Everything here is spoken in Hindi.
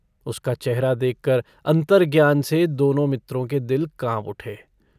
उसका चेहरा देखकर अन्तर्ज्ञान से दोनों मित्रों के दिल काँप उठे।